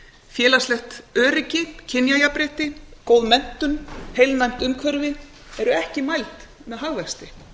félagslegt öryggi kynjajafnrétti góð menntun heilnæmt umhverfi eru ekki mæld með hagvexti